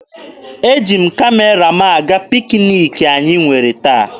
Eji m Kamera m aga pikiniki anyị nwere taa.